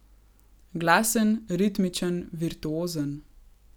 Glasen, ritmičen, virtuozen.